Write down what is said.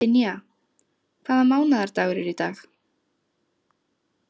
Dynja, hvaða mánaðardagur er í dag?